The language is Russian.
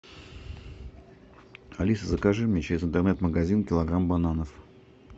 алиса закажи мне через интернет магазин килограмм бананов